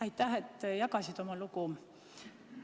Aitäh, et jagasid oma lugu!